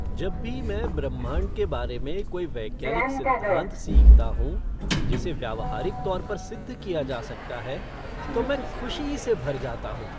जब भी मैं ब्रह्मांड के बारे में कोई वैज्ञानिक सिद्धांत सीखता हूं जिसे व्यावहारिक तौर पर सिद्ध किया जा सकता है तो मैं खुशी से भर जाता हूँ।